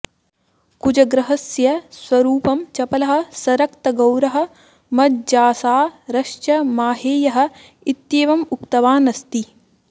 कुजग्रहस्य स्वरूपं चपलः सरक्तगौरः मज्जासारश्च माहेयः इत्येवम् उक्तवान् अस्ति